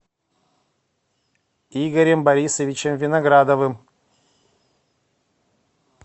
игорем борисовичем виноградовым